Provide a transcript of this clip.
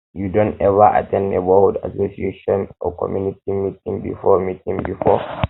you don ever at ten d neighborhood association or community meeting before meeting before um